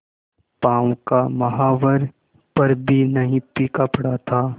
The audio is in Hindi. पांव का महावर पर भी नहीं फीका पड़ा था